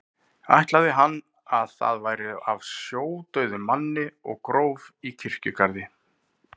Ætlaði hann að það væri af sjódauðum manni og gróf í kirkjugarði.